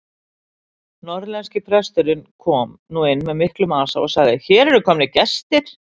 Norðlenski presturinn kom nú inn með miklum asa og sagði:-Hér eru komnir gestir!